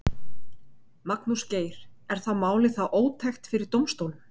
Magnús Geir: Er málið þá ótækt fyrir dómsstólum?